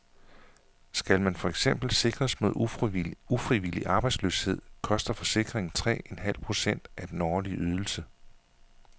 Skal man for eksempel sikres mod ufrivillig arbejdsløshed, koster forsikringen tre en halv procent af den årlige ydelse.